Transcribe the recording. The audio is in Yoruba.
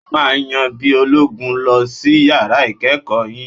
Ẹ máa yan bí ológun lọ sí yàrá ìkẹ́ẹ̀kọ̀ yín!